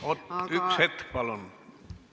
Oot, üks hetk palun!